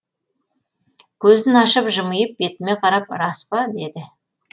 көзін ашып жымиып бетіме қарап рас па деді